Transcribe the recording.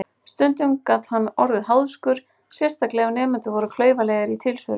Stundum gat hann orðið háðskur, sérstaklega ef nemendur voru klaufalegir í tilsvörum.